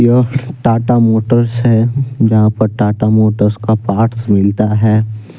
यह टाटा मोटर्स है यहां पर टाटा मोटर्स का पार्ट्स मिलता है।